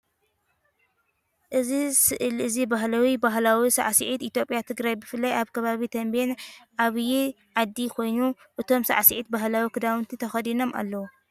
እዚ ስእሊ እዚ ባህላዊ ባህላዊ ሳዕስዒት ኢትዮጵያ ትግራይ ብፍላይ አብ ከባቢ ተቤን ዓብይ ዓዲ ኮይኑ እቶም ሳዕስዒት ባህላዊ ኽዳውንቲ ተኸዲኖም ኣለዉ።